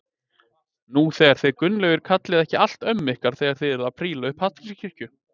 Nú þið Gunnlaugur kallið ekki allt ömmu ykkar þegar þið eruð að príla upp Hallgrímskirkju